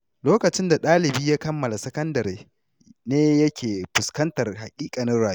Lokacin da ɗalibi ya kammala sakandare ne ya ke fuskantar haƙiƙanin rayuwa.